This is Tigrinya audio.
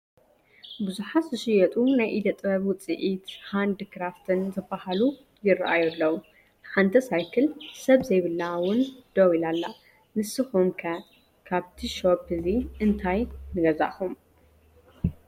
ብዙሓት ዝሽየጡ ናይ ኢደ ጥበብ ውፅኢታት ሃንድ ክራፍትን ዝባሃሉ ይራኣዩ ኣለው ሓንቲ ሳይክል ሰብ ዘይብላ ውን ደው ኢላ ኣለ፡፡ ንስኹም ከ ካብቲ ሾኘ እዚ እንታይ ንገዛእኹም?